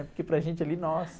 Porque para gente ali, nossa.